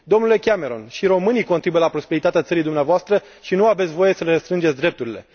Domnule Cameron, și românii contribuie la prosperitatea țării dumneavoastră și nu aveți voie să le restrângeți drepturile.